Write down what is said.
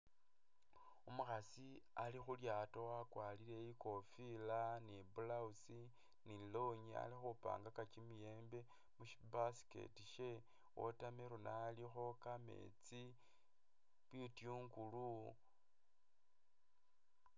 Umukhasi ali khu lyaato wakwarire i'kofila ni i'blouse ni i'longi ali khupangaka kimiyembe mu syi basket sye, watermelon alikho, kameetsi, bitungulu.